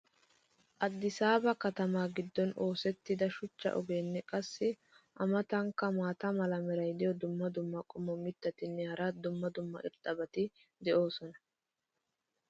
Addisaaba katamaa giddon oosettida shuchcha ogeenne qassi a matankka maata mala meray diyo dumma dumma qommo mitattinne hara dumma dumma irxxabati de'oosona.